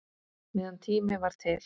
Meðan tími var til.